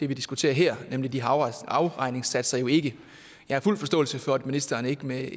vi diskuterer her nemlig de her afregningssatser jo ikke jeg har fuld forståelse for at ministeren ikke med